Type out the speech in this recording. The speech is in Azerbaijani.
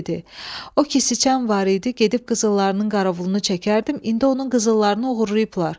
O kisəçən var idi, gedib qızıllarının qarovulunu çəkərdim, indi onun qızıllarını oğurlayıblar.